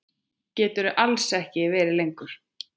Geturðu alls ekki verið lengur?